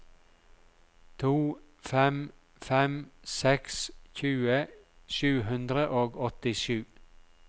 to fem fem seks tjue sju hundre og åttisju